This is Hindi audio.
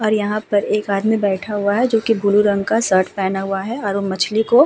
और यहाँ पर एक आदमी बैठा हुआ है जोकि ब्लू रंग का शर्ट पहना हुआ है और वो मछली को --